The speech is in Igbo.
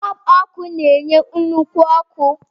Bọlbụ ọkụ na-enye nnukwu ọkụ.